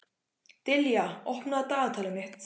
Dilja, opnaðu dagatalið mitt.